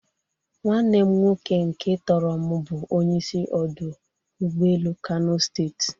Nwanne m nwoke nke toro m bụ onye isi ọdụ ụgbọ elu Kano steeti.